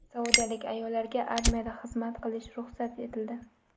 Saudiyalik ayollarga armiyada xizmat qilish ruxsat etildi.